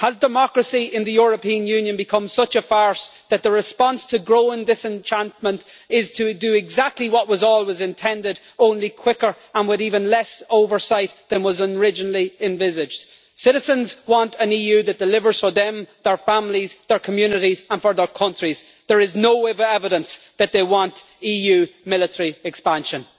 Has democracy in the European Union become such a farce that the response to growing disenchantment is to do exactly what was always intended, only quicker and with even less oversight than was originally envisaged? Citizens want an EU that delivers for them, their families, their communities and their countries. There is no evidence that they want EU military expansion.